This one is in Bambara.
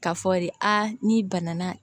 K'a fɔ de aa n'i banana